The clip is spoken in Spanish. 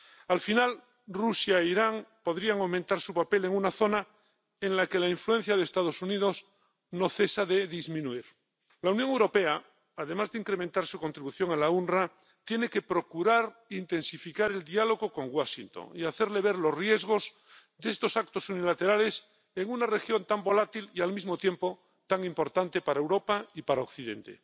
Al final, Rusia e Irán podrían aumentar su papel en una zona en la que la influencia de los Estados Unidos no cesa de disminuir. La Unión Europea, además de incrementar su contribución al OOPS, tiene que procurar intensificar el diálogo con Washington y hacerle ver los riesgos de estos actos unilaterales en una región tan volátil y al mismo tiempo tan importante para Europa y para Occidente.